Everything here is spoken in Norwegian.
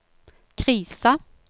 krisa